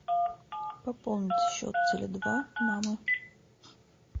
пополнить счет теле два мама